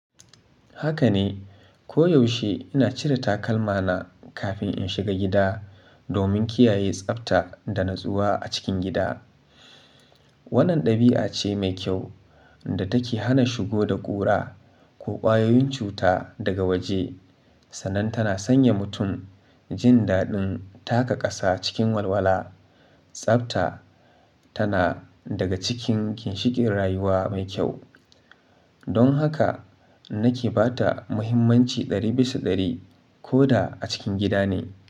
Haka ne. Ko yaushe ina cire takalma na kafin in shiga gida domin kiyaye tsafta da natsuwa a cikin gida. Wannan ɗabi'a ce mai kyau da take hana shigo da ƙura ko ƙwayoyin cuta daga waje sannan tana sanya mutum jin daɗin taka ƙasa cikin walwala. Tsafta tana daga cikin ginshiƙin rayuwa mai kyau. Don haka nake ba ta muhimmanci ɗari bisa ɗari koda a cikin gida ne.